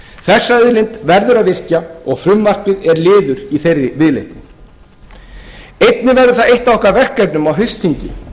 þessa auðlind verður að virkja og frumvarpið er liður í þeirri viðleitni einnig verður það eitt af okkar verkefnum á haustþingi